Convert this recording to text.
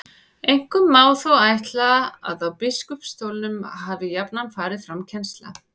Einkum má þó ætla að á biskupsstólunum hafi jafnan farið fram kennsla.